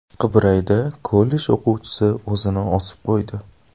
Qibrayda kollej o‘quvchisi o‘zini osib qo‘ydi.